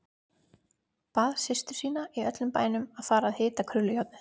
Bað systur sína í öllum bænum að fara að hita krullujárnið.